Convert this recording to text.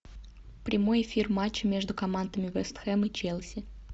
прямой эфир матча между командами вест хэм и челси